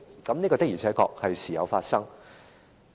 這些事件的確是時有發生的。